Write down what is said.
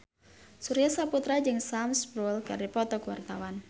Surya Saputra jeung Sam Spruell keur dipoto ku wartawan